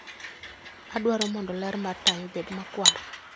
Adwaro mondo ler mar taya obed makwar.